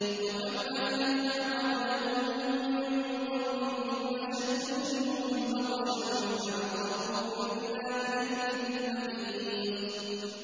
وَكَمْ أَهْلَكْنَا قَبْلَهُم مِّن قَرْنٍ هُمْ أَشَدُّ مِنْهُم بَطْشًا فَنَقَّبُوا فِي الْبِلَادِ هَلْ مِن مَّحِيصٍ